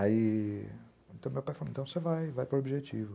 Aí, meu pai falou, então você vai, vai para o objetivo.